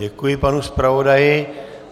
Děkuji panu zpravodaji.